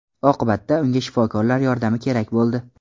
Oqibatda unga shifokorlar yordami kerak bo‘ldi.